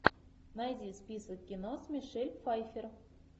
найди список кино с мишель пфайффер